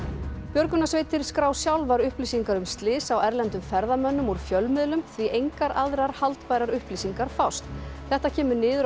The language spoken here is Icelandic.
björgunarsveitir skrá sjálfar upplýsingar um slys á erlendum ferðamönnum úr fjölmiðlum því engar aðrar haldbærar upplýsingar fást þetta kemur niður